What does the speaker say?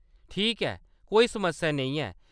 ठीक ऐ, कोई समस्या नेईं ऐ।